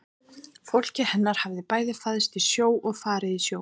Fólkið hennar hafði bæði fæðst í sjó og farið í sjó.